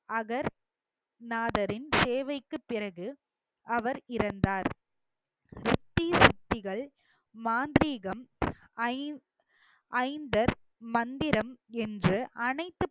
அகர் நாதரின் சேவைக்குப் பிறகு அவர் இறந்தார் தீய சக்திகள் மாந்திரீகம் ஐந்~ ஐந்தர் மந்திரம் என்று அனைத்து